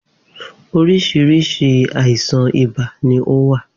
Oríṣiríṣi àìsàn ibà ní o wà